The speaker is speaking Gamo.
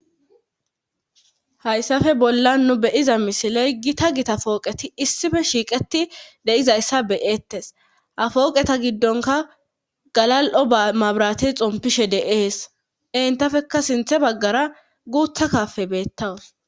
Hayssafe bollan nu beyiza misiley gita gita fooqeti issife shiiqeti deizayssa beyeettes hafooqeta giddonka galal'o amabrate xompishe de'ees entafekka sinthe baggara guutha kafe beettawus.